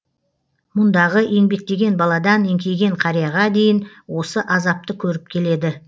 мұндағы еңбектеген баладан еңкейген қарияға дейін осы азапты көріп келеді